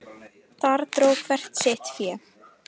Þar dró hver sitt fé.